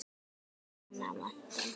Minnir hana á Anton!